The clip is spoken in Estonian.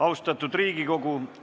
Austatud Riigikogu!